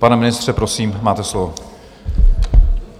Pane ministře, prosím, máte slovo.